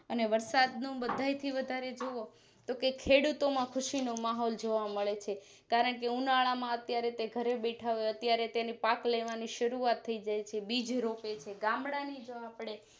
અને વરસાદ નું બધા થીવધારેએજોવો તો ખેડૂતોમાં ખુસીનો માહોલ જોવા મળે છે કારણકે ઉનાળામાં અત્યારે તે ઘરે બેઠા હોય અત્યારે તેની પાક લેવાની શરૂઆત થઈ જાય છે બીજરોપે છે ગામડાની જો આપણે